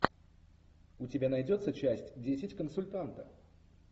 у тебя найдется часть десять консультанта